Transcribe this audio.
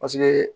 Paseke